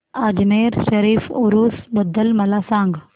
अजमेर शरीफ उरूस बद्दल मला सांग